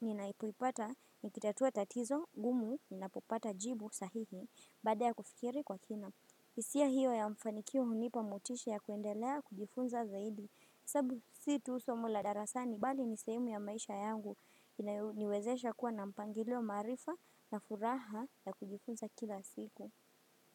ninapoipata nikitatua tatizo, gumu, ninapopata jibu sahihi, baada ya kufikiri kwa kina. Hisia hiyo ya mfanikio hunipa motisha ya kuendelea kujifunza zaidi. Sababu si tu somo la darasani bali ni sehemu ya maisha yangu huniwezesha kuwa na mpangilo maarifa na furaha ya kujifunza kila siku.